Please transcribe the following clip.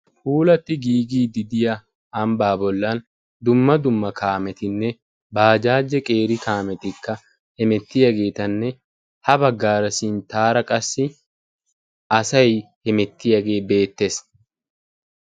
Puulati giigidi diyaa ambba bollan dumma dumma qeeri kaameti bajaje qeeri kaameti hemetiyaagetanne ha baggara sinttara qassi asay hemettiyaage beettees.